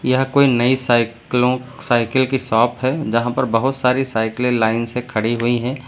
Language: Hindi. यह कोई नई साइकिलों साइकिल की शॉप है यहां पर बहुत सारी साइकिलें लाइन से खड़ी हुई हैं।